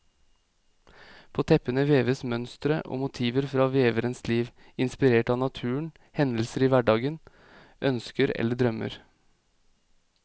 På teppene veves mønstre og motiver fra veverens liv, inspirert av naturen, hendelser i hverdagen, ønsker eller drømmer.